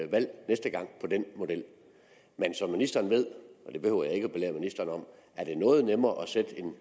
valg næste gang på den model men som ministeren ved det behøver jeg ikke at belære ministeren om er det noget nemmere at sætte en